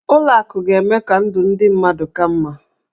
Ụlọ akụ ga-eme ka ndụ ndị mmadụ ka mma.